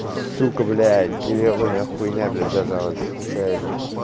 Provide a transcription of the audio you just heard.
сука блять гребаная хуйня блять зажалась случайно